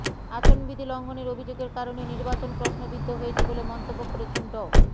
আচরণবিধি লঙ্ঘনের অভিযোগের কারণে নির্বাচন প্রশ্নবিদ্ধ হয়েছে বলে মন্তব্য করেছেন ড